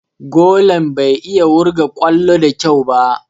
Golan bai iya wurga ƙwallo da kyau ba.